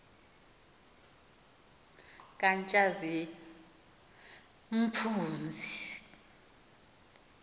katshazimpunzi